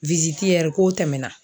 k'o tɛmɛna.